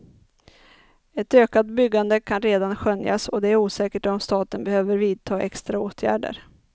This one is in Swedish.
Ett ökat byggande kan redan skönjas och det är osäkert om staten behöver vidta extra åtgärder.